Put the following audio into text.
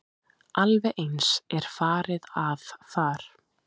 Alveg eins er farið að þar.